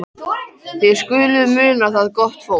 Þótt hann segði ekkert þá hlakkaði hann til þess.